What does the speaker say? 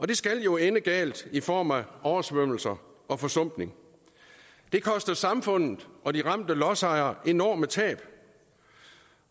det skal jo ende galt i form af oversvømmelser og forsumpning det koster samfundet og de ramte lodsejere enorme tab